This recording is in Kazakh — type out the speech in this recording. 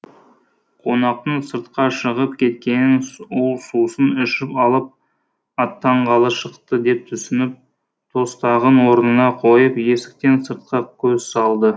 қонақтың сыртқа шығып кеткенін ол сусын ішіп алып аттанғалы шықты деп түсініп тостағын орнына қойып есіктен сыртқа көз салды